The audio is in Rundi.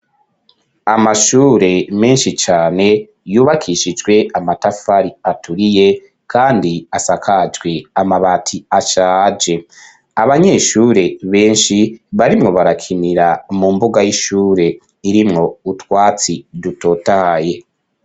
Amashure menshi cane yubakishijwe amatafari aturiye kandi asakajwe amabati ashaje, abanyeshure benshi barimwo barakinira mu mbuga y'ishure irimwo utwatsi dutotahaye.